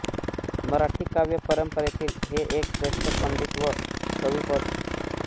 मराठी काव्य परंपरेतील हे एक श्रेष्ठ पंडित व कवी होत